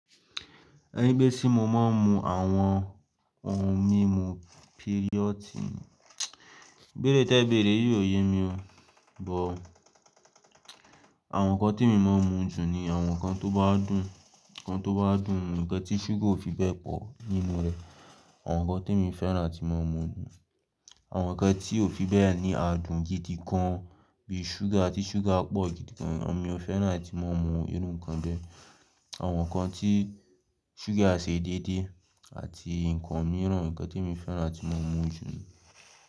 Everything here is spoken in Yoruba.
Ẹni pé sí mo máa ń mu àwọn ohun mímu píríọ̀tì, béèrè tí ẹ béèrè óò yé mi o. Bọ̀ àwọn nǹkan tí mo máa ń mu jù ni àwọn nǹkan tó bá dùn, nǹkan tó bá dùn, ǹkan tí ṣúgà ò fi bẹ́ẹ̀ pọ̀ nínú rẹ̀, àwọn nǹkan tí mo fẹ́ràn tí mo máa ń mu jù. Àwọn nǹkan tí ò fi bẹ́ẹ̀ ni á dùn gidi gan bí i ṣúgà tí ṣúgà pọ̀ gidi gan mi ò fẹ́ràn tí mo máa ń mu irú nǹkan bẹ́ẹ̀. Àwọn nǹkan tí ṣúgà ṣe déédéé àti nǹkan mìíràn, nǹkan tí mo fẹ́ràn tí mo máa ń mu jù ni.